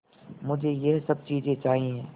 मुझे यह सब चीज़ें चाहिएँ